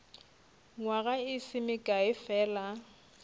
nywaga e se mekae fela